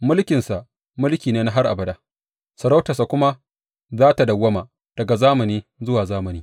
Mulkinsa mulki ne na har abada; sarautarsa kuma za tă dawwama daga zamani zuwa zamani.